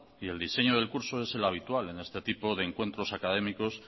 y el diseño del curso es el habitual en este tipo de encuentros académicos